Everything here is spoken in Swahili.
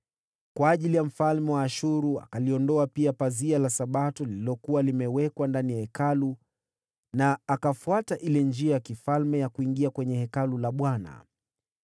Kwa heshima ya mfalme wa Ashuru, akaliondoa pia pazia la Sabato lililokuwa limewekwa ndani ya Hekalu, na akaondoa ile njia ya kifalme ya kuingia kwenye Hekalu la Bwana .